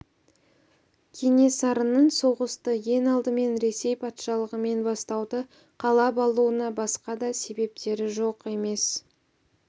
кенесарының соғысты ең алдымен ресей патшалығымен бастауды қалап алуына басқа да себептері жоқ емес